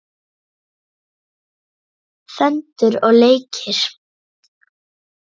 Föndur og leikir.